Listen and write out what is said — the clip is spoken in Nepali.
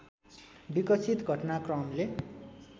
विकसित घटनाक्रमले